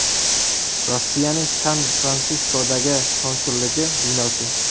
Rossiyaning San-Fransiskodagi konsulligi binosi.